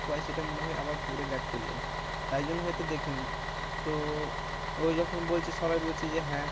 পাই সেটা মনে হয় আবার ঘুরে back চলে যাই, তাই জন্য হয়তো দেখি নি, তো ওই যখন বলছে সবাই বলছে যে হ্যাঁ